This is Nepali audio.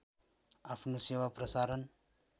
आफ्नो सेवा प्रसारण